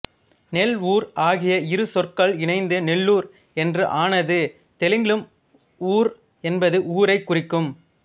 நெல் ஊர் ஆகிய இரு சொற்கள் இணைந்து நெல்லூர் என்று ஆனது தெலுங்கிலும் ஊர் என்பது ஊரை குறிக்கும்